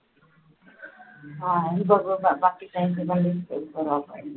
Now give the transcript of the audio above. आम्ही बघू